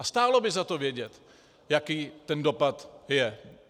A stálo by za to vědět, jaký ten dopad je.